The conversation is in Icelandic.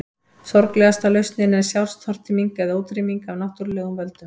Sorglegasta lausnin er sjálfstortíming eða útrýming af náttúrulegum völdum.